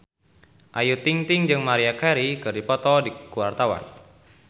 Ayu Ting-ting jeung Maria Carey keur dipoto ku wartawan